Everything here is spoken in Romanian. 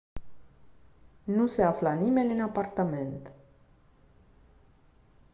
nu se afla nimeni în apartament